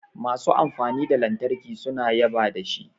Masu amfani da lantarki suna yaba da shi